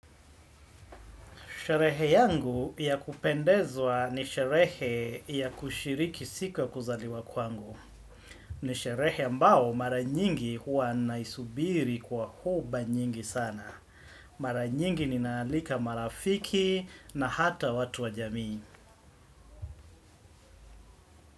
Sherehe yangu ya kupendezwa ni sherehe ya kushiriki siku ya kuzaliwa kwangu. Ni sherehe ambao mara nyingi huwa naisubiri kwa huba nyingi sana. Mara nyingi ninaalika marafiki na hata watu wa jamii.